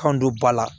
Kan don ba la